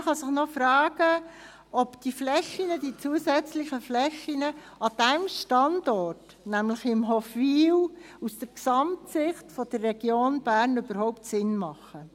Man kann sich noch fragen, ob die zusätzlichen Flächen an diesem Standort, nämlich in Hofwil, aus der Gesamtsicht der Region Bern überhaupt Sinn machen.